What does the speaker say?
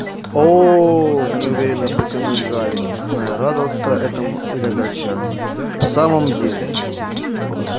о-о неуверенно протянул гарри не зная радоваться этому или огорчаться в самом деле